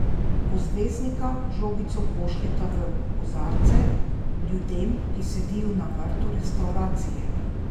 Ko zvezdnika žogico pošiljata v kozarce, ljudem, ki sedijo na vrtu restavracije?